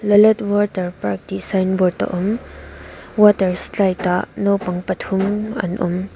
lalat water park tih sign board a awm water slide a naupang pathum an awm.